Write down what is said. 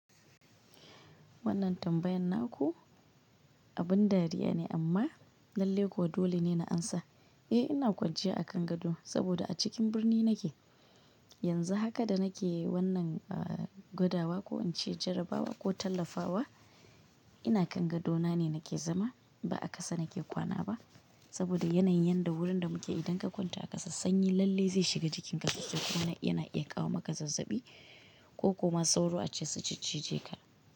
Wannan tambayan naku abin dariya ne amma lalle kuwa dole ne na amsa. Eh ina kwanciya a kan gado saboda a cikin birni nake. Yanzu haka da nake wannan, uh, gwadawa ko in ce jarabawa ko tallafawa, ina kan gadona ne nake zama ba a kasa nake kwana ba saboda yanayin yanda wurin da muke idan ka kwanta a kasa sanyi lalle zai shiga jikinka. Sannan yana iya kawo maka zazzabi ko ko ma sauro ace su ciccije ka.